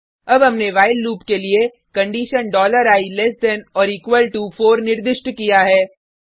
अब हमने while loop के लिए condition i less than or equal to 4 निर्दिष्ट किया है